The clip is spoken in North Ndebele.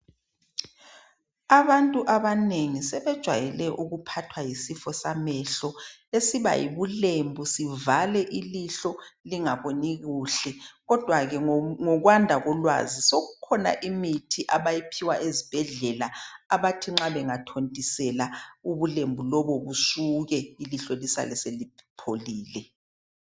Abantu abanengi sebejwayele ukuphathwa yisifo samehlo esiba yibulembu sivale ilihlo lingaboni kuhle. Kodwa ke ngokwanda kolwazi sokukhona imithi abayiphiwa ezibhedlela abathi nxa bengathontisela ubulembu lobo busuke ilihlo lisale selipholile.